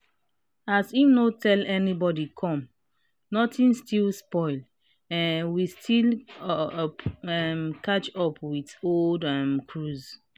as im no tell anybody come notin still spoil um we still up um catch up with old um cruise.